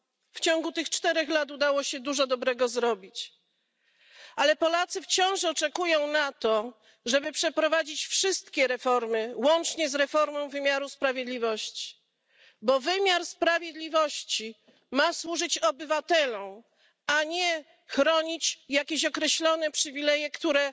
W ciągu tych czterech lat udało się dużo dobrego zrobić, ale Polacy wciąż oczekują tego, żeby przeprowadzić wszystkie reformy, łącznie z reformą wymiaru sprawiedliwości, bo wymiar sprawiedliwości ma służyć obywatelom, a nie chronić jakieś określone przywileje, które